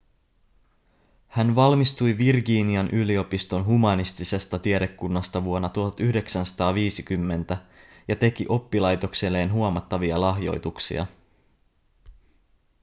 hän valmistui virginian yliopiston humanistisesta tiedekunnasta vuonna 1950 ja teki oppilaitokselleen huomattavia lahjoituksia